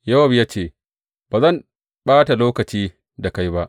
Yowab ya ce, Ba zan ɓata lokaci da kai ba.